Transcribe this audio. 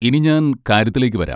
ഇനി ഞാൻ കാര്യത്തിലേക്ക് വരാം.